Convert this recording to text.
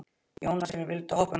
Jónasína, viltu hoppa með mér?